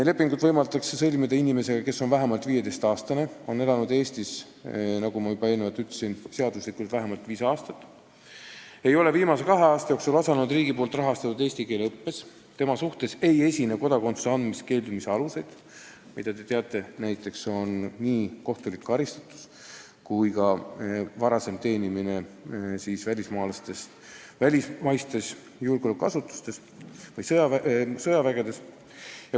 Lepingu võib sõlmida inimesega, kes on vähemalt 15-aastane, kes on elanud seaduslikult Eestis vähemalt viis aastat, nagu ma juba enne ütlesin, kes ei ole viimase kahe aasta jooksul osalenud riigi rahastatud eesti keele õppes ja kelle suhtes ei esine kodakondsuse andmisest keeldumise aluseid, milleks on, nagu te teate, näiteks kohtulik karistatus või varasem teenimine välismaistes julgeolekuasutustes või sõjaväes.